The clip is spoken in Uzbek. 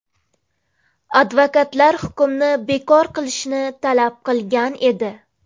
Advokatlar hukmni bekor qilishni talab qilgan edi.